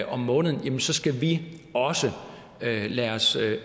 om måneden så skal vi også lade lade os